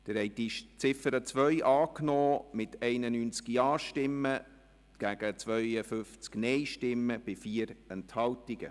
Sie haben die Ziffer 2 angenommen mit 91 Ja- gegen 52 Nein-Stimmen bei 4 Enthaltungen.